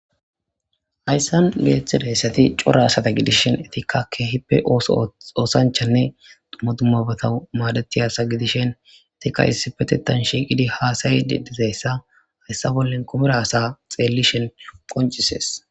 hayssan beeththi deessati cura asata gidishin etikkakke hippe oso oosanchanne madumabata maadati asa gidishen tika hisipetetan shiiqidi haasayide dizeyssa hayssa bollen kumiraasa xeellishen qoncisees